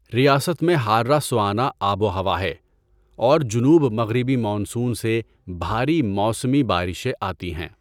ریاست میں حارّہ سوانہ آب و ہوا ہے اور جنوب مغربی مانسون سے بھاری موسمی بارشیں آتی ہیں۔